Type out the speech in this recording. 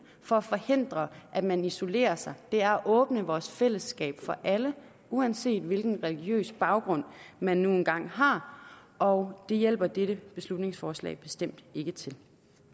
for at forhindre at man isolerer sig er at åbne vores fællesskab for alle uanset hvilken religiøs baggrund man nu engang har og det hjælper dette beslutningsforslag bestemt ikke til